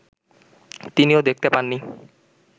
তিনিও দেখতে পাননি